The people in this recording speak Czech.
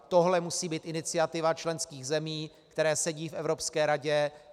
Tohle musí být iniciativa členských zemí, které sedí v Evropské radě.